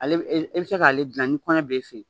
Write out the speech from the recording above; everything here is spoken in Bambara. E bɛ se k'ale dilan ni kɔɲɔ bɛ i fɛ yen